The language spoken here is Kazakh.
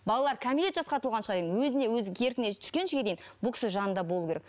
балаларды кәмелет жасқа толғанға шейін өзіне өзі еркіне дейін бұл кісінің жанында болуы керек